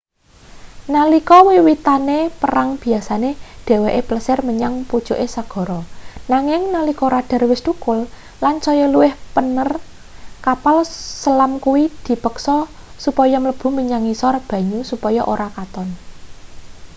nalika wiwitane perang biyasane dheweke plesir menyang pucuke segara nanging nalika radar wis thukul lan saya luwih pener kapal selam kuwi dipeksa supaya mlebu menyang ngisor banyu supaya ora katon